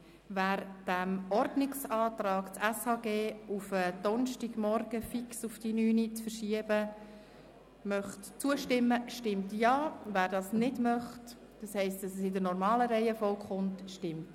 Wer dem Ordnungsantrag, das SHG fix auf Donnerstagmorgen, 09.00 Uhr, zu verschieben, zustimmen möchte, stimmt Ja, wer dies nicht möchte – das heisst, wer möchte, dass die geplante Reihenfolge eingehalten wird